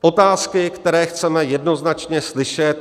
Otázky, které chceme jednoznačně slyšet.